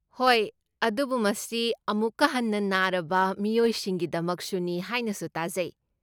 ꯍꯣꯏ, ꯑꯗꯨꯕꯨ ꯃꯁꯤ ꯑꯃꯨꯛꯀ ꯍꯟꯅ ꯅꯥꯔꯕ ꯃꯤꯑꯣꯏꯁꯤꯡꯒꯤꯗꯃꯛꯁꯨꯅꯤ ꯍꯥꯏꯅꯁꯨ ꯇꯥꯖꯩ꯫